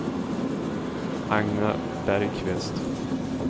Agne Bergkvist